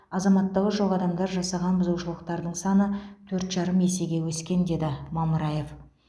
азаматтығы жоқ адамдар жасаған бұзушылықтардың саны төрт жарым есеге өскен деді мамыраев